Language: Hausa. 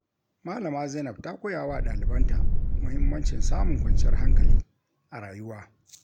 Malama Zainab ta koya wa ɗalibanta muhimmancin samun kwanciyar hankali a rayuwa.